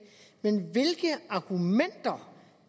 men hvilke argumenter